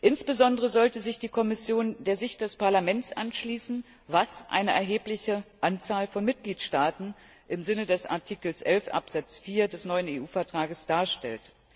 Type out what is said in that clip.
Insbesondere sollte sich die Kommission der Sicht des Parlaments anschließen, was eine erhebliche Anzahl von Mitgliedstaaten im Sinne von Artikel 11 Absatz 4 des neuen EU Vertrags darstellt.